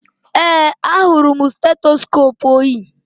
Ee, ahụrụ m stetoskoopu o yi